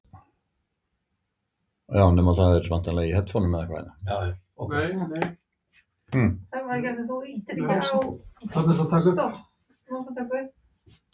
Þórhildur: Af hverju ertu að bíða með að athuga það?